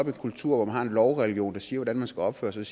en kultur hvor man har en lovreligion der siger hvordan man skal opføre sig